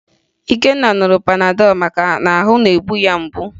Ikenna ṅụrụ Panadọ maka na ahụ na-egbu ya mgbu